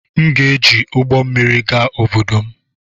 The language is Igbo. M ga-eji ụgbọ mmiri gaa obodo m